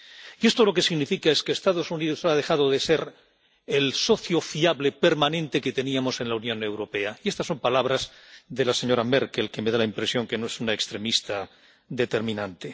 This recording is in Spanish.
Y esto lo que significa es que Estados Unidos ha dejado de ser el socio fiable permanente que teníamos en la Unión Europea —y estas son palabras de la señora Merkel, que me da la impresión de que no es una extremista determinante—.